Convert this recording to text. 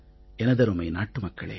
எனதருமை நாட்டு மக்களே